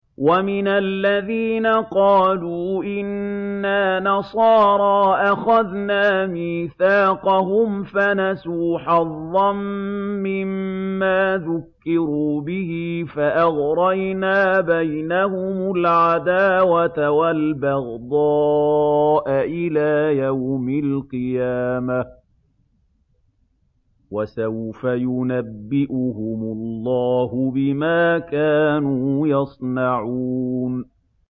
وَمِنَ الَّذِينَ قَالُوا إِنَّا نَصَارَىٰ أَخَذْنَا مِيثَاقَهُمْ فَنَسُوا حَظًّا مِّمَّا ذُكِّرُوا بِهِ فَأَغْرَيْنَا بَيْنَهُمُ الْعَدَاوَةَ وَالْبَغْضَاءَ إِلَىٰ يَوْمِ الْقِيَامَةِ ۚ وَسَوْفَ يُنَبِّئُهُمُ اللَّهُ بِمَا كَانُوا يَصْنَعُونَ